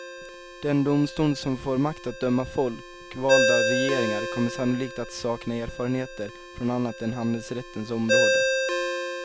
Den domstol som får makt att döma folkvalda regeringar kommer sannolikt att sakna erfarenheter från annat än handelsrättens område.